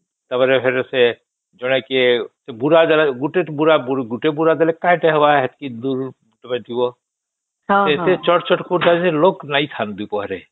ଟା ପରେ ଫେର ସେ ଜଣେ କିଏ ବୁଢା ଦେଲା ଗୋଟେ ବୁଡ଼ା ଦେଲେ କାଇଁ ହବ ଏତିକି ଦୂର ରୁ ତୁମେ ଯିବା ଏତେ ଚଟ ଚଟ କରୁଥାଏ ଯେ ଲୋକ ଲାଇନ ଥାଏ ପରେ